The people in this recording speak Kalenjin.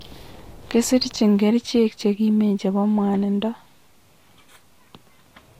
Kisirchi kerechek chekimen chepo mwanindo